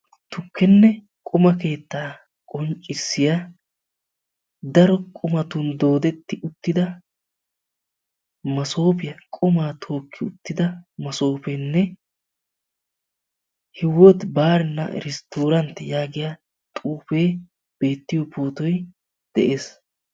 Tukenne quma keetta qonccissiya daro qumatun dooddeti uttida masopiya, qumma tookki uttida maasopenne Hiwootti barina Irsttorantti yaagiyaa xuufe beettiyo pootoy de'ees.